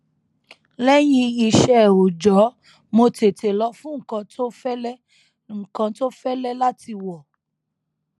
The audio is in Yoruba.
lẹyìn iṣẹ òòjọ mo tètè lọ fún nnkan tó fẹlẹ nnkan tó fẹlẹ láti wọ